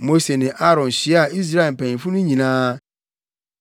Mose ne Aaron hyiaa Israelfo mpanyimfo no nyinaa,